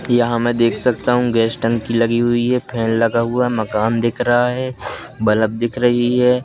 कि यहां मैं देख सकता हूं गैस टंकी लगी हुई है फैन लगा हुआ मकान दिख रहा है बल्ब दिख रही है।